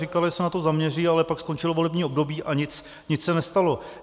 Říkala, že se na to zaměří, ale pak skončilo volební období a nic se nestalo.